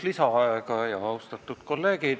Palun ühtlasi igaks juhuks lisaaega.